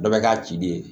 Dɔ bɛ k'a ci de ye